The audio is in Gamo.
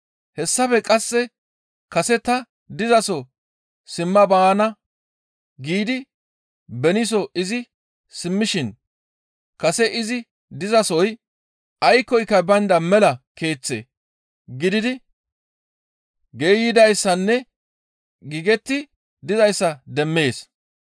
Hessafe qasse kase ta dizaso simma baana giidi beniiso izi simmishin kase izi dizasoy aykkoyka baynda mela keeththe gididi geeyidayssanne giigetti dizayssa demmees.